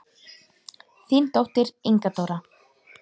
Þín dóttir, Inga Dóra.